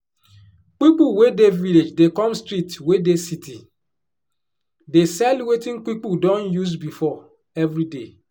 pipu wey dey village dey come street wey dey city dey sell wetin pipu don use before every day